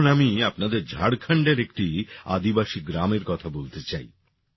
এখন আমি আপনাদের ঝাড়খন্ডের একটি আদিবাসী গ্রামের কথা বলতে চাই